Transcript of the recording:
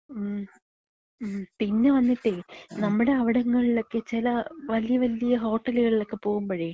മ് മ്. പിന്നെ വന്നിട്ടേ നമ്മടവിടങ്ങളിലൊക്കെ ചെല വല്യ വല്യ ഹോട്ടല്കളിലൊക്കെ പോകുമ്പഴേ,